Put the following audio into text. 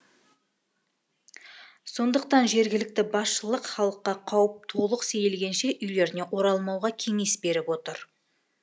сондықтан жергілікті басшылық халыққа қауіп толық сейілгенше үйлеріне оралмауға кеңес беріп отыр